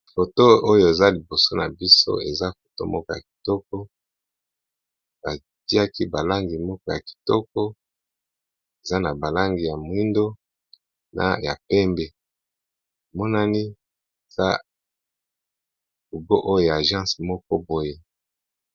Foto oyo eza liboso na biso eza foto moko ya kitoko batiaki balangi moko ya kitoko eza na ba langi ya mwindo na ya pembe monani eza logo oyo y'a agence moko boye.